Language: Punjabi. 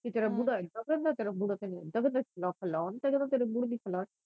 ਤੇਰਾ ਬੂੜਾ ਏਦਾਂ ਗੰਦਾ ਕਿ ਤੇਰਾ ਬੂੜਾ ਲੱਖ ਲਾਹਨਤ ਆ ਤੇਰੇ ਬੂੜੇ ਦੀ ਲੈ